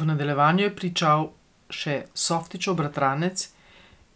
V nadaljevanju je pričal še Softićev bratranec,